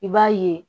I b'a ye